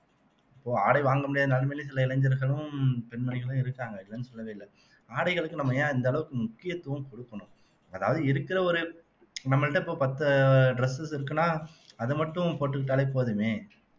இப்போ ஆடை வாங்க முடியாத நிலைமையிலே சில இளைஞர்களும் பெண்மணிகளும் இருக்காங்க இல்லைன்னு சொல்லவே இல்லை ஆடைகளுக்கு நம்ம ஏன் இந்த அளவுக்கு முக்கியத்துவம் கொடுக்கணும் அதாவது இருக்கிற ஒரு நம்மள்ட்ட இப்போ பத்து dresses இருக்குன்னா அது மட்டும் போட்டுக்கிட்டாலே போதுமே